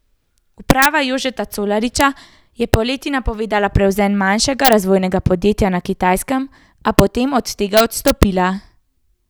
Uprava Jožeta Colariča je poleti napovedovala prevzem manjšega razvojnega podjetja na Kitajskem, a potem od tega odstopila.